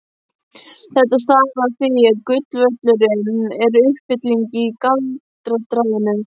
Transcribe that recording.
Þetta stafi af því að golfvöllurinn er uppfylling í daldraginu.